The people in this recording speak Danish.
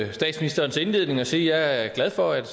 på statsministerens indledning og sige at jeg er glad for at